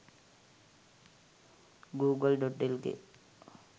google.lk